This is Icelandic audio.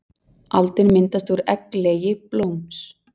Aldin myndast úr egglegi blóms.